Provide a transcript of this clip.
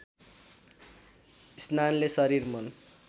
स्नानले शरीर मन